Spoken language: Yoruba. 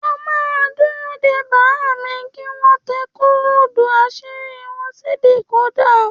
À mà dúró dẹ bàámi, ki wọn wà tẹ kódù àṣírí wọn si díkòda